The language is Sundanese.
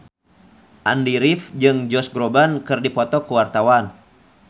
Andy rif jeung Josh Groban keur dipoto ku wartawan